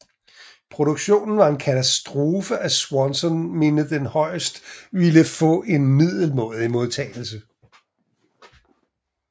Produktionen var en katastrofe of Swanson mente den højst ville få en middelmådig modtagelse